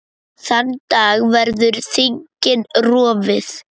Þann dag verður þingið rofið.